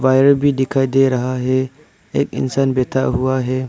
Wire भी दिखाई दे रहा है एक इंसान बैठा हुआ है।